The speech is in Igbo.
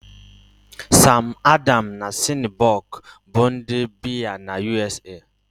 Sam Adams na Shiner Bock bụ ụdị biya na U.S.A